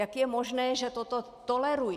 Jak je možné, že toto tolerují?